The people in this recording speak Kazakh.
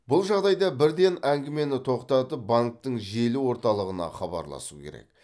бұл жағдайда бірден әңгімені тоқтатып банктің желі орталығына хабарласу керек